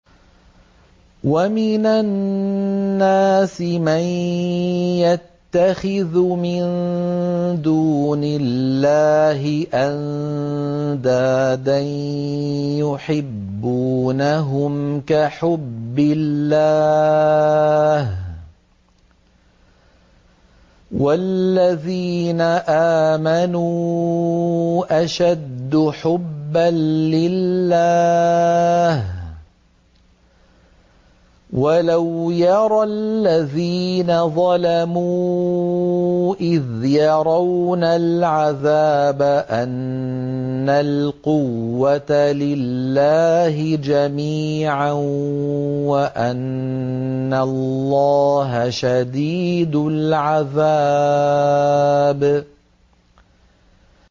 وَمِنَ النَّاسِ مَن يَتَّخِذُ مِن دُونِ اللَّهِ أَندَادًا يُحِبُّونَهُمْ كَحُبِّ اللَّهِ ۖ وَالَّذِينَ آمَنُوا أَشَدُّ حُبًّا لِّلَّهِ ۗ وَلَوْ يَرَى الَّذِينَ ظَلَمُوا إِذْ يَرَوْنَ الْعَذَابَ أَنَّ الْقُوَّةَ لِلَّهِ جَمِيعًا وَأَنَّ اللَّهَ شَدِيدُ الْعَذَابِ